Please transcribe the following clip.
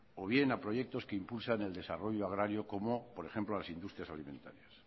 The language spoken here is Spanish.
o bien a proyectos que impulsan el desarrollo agrario como por ejemplo a las industrias alimentarías